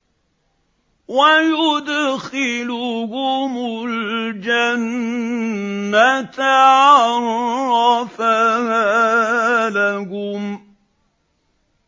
وَيُدْخِلُهُمُ الْجَنَّةَ عَرَّفَهَا لَهُمْ